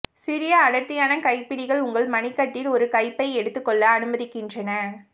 சிறிய அடர்த்தியான கைப்பிடிகள் உங்கள் மணிக்கட்டில் ஒரு கைப்பை எடுத்துக்கொள்ள அனுமதிக்கின்றன